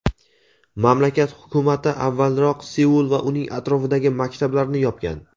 Mamlakat Hukumati avvalroq Seul va uning atrofidagi maktablarni yopgan.